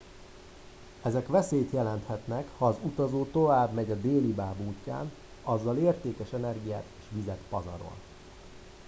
ezek veszélyt jelenthetnek ha az utazó továbbmegy a délibáb útján azzal értékes energiát és vizet pazarol